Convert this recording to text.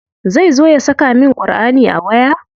Zai zo ya saka min Ƙurʼani a waya?